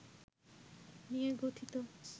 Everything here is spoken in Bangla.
নিয়ে গঠিত